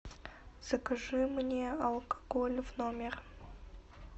закажи мне алкоголь в номер